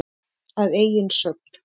Að eigin sögn.